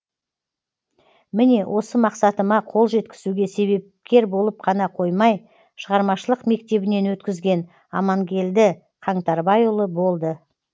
міне осы мақсатыма қолжеткізуге себепкер болып қана қоймай шығармашылық мектебінен өткізген аманкелді қаңтарбайұлы болды